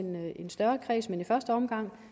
en større kreds men i første omgang